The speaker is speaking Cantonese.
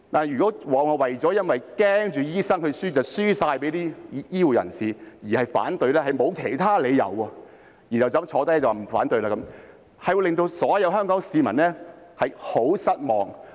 如果只是由於擔心醫生會敗給其他醫護人員而反對，但又沒有其他理由，然後便說反對，這樣會令所有香港市民很失望。